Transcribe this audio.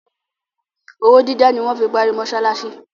Owó dídá ni wọ́n fi parí mọsálásí.